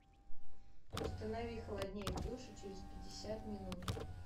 установи холоднее в душе через пятьдесят минут